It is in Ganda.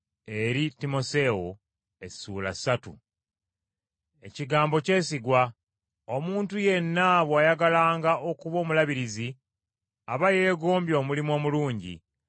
Ekigambo kyesigwa. Omuntu yenna bw’ayagalanga okuba Omulabirizi aba yeegombye omulimu omulungi.